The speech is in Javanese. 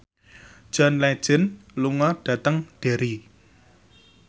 John Legend lunga dhateng Derry